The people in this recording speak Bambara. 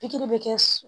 Pikiri bɛ kɛ su